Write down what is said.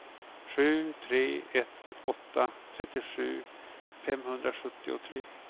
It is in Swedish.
sju tre ett åtta trettiosju femhundrasjuttiotre